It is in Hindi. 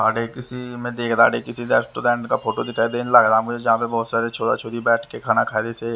किसी मैं देख रहा किसी रेस्टोरेंट का फोटो दिखाई देने लग रहा मुझे जहाँ पर बहुत सारे छोरा छोरी बैठ के खाना खा रहे थे--